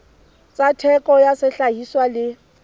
tsa theko ya sehlahiswa le